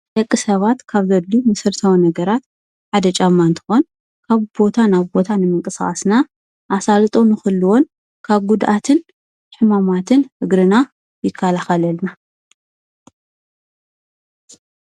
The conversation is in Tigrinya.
ድቂ ሰባት ካብ ዘድሊ ምስርተወ ነገራት ሃደ ጫማንትኾን ካብ ቦታ ናብ ቦታን ንምንቀሣዓስና ኣሣል ጦ ምኽልዎን ካብ ጕድኣትን ሕማማትን እግርና ይካልኸለልና፡፡